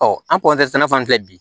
Ɔ an fan filɛ bi